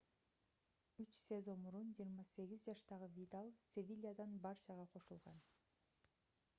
үч сезон мурун 28 жаштагы видаль севильядан барчага кошулган